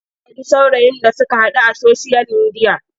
Ta sure saurayin da suka haɗu a soshiyal midiya.